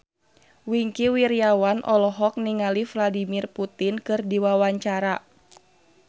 Wingky Wiryawan olohok ningali Vladimir Putin keur diwawancara